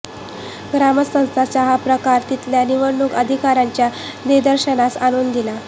ग्रामस्थांच्या हा प्रकार तिथल्या निवडणूक अधिकाऱ्यांच्या निदर्शनास आणून दिला